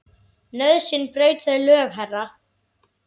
Nauðsyn braut þau lög, herra.